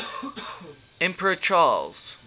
emperor charles